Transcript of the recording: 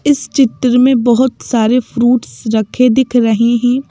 इस चित्र में बहुत सारे फ्रूट्स रखे दिख रहे हैं।